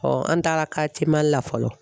an taara i Mali la fɔlɔ.